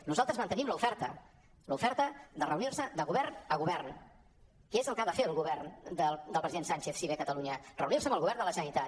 nosaltres mantenim l’oferta l’oferta de reunir·nos de govern a govern que és el que ha de fer el govern del president sánchez si ve a catalunya reunir·se amb el govern de la generalitat